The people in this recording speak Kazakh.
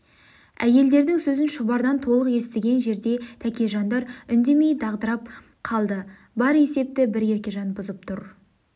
әйелдердің сөзін шұбардан толық естіген жерде тәкежандар үндемей дағдырып қалды бар есепті бір еркежан бұзып отыр